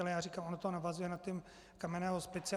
Ale já říkám, ono to navazuje na ty kamenné hospice.